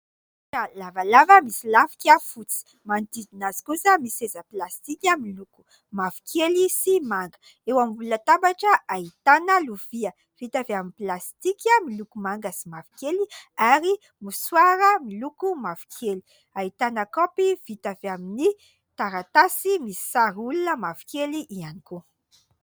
Latabatra lavalava misy lafika fotsy, manodidina azy kosa ny seza plastika miloko mavokely sy manga. Eo ambony latabatra ahitana lovia vita avy amin'ny plastika miloko manga sy mavokely, ary mosoara miloko mavokely. Ahitana kaopy vita avy amin'ny taratasy, misy sary olona mavokely ihany koa.